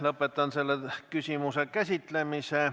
Lõpetan selle küsimuse käsitlemise.